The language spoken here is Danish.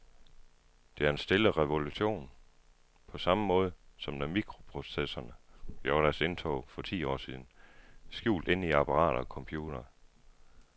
Det er en stille revolution, på samme måde som da mikroprocessorerne gjorde deres indtog for ti år siden, skjult indeni apparater og computere.